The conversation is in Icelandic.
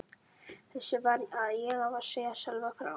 Þessu varð ég að segja Sölva frá.